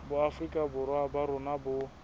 boafrika borwa ba rona bo